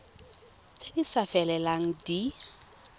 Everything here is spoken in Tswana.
tse di sa felelang di